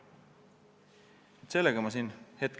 Seda vajaduse korral ka toimingutega.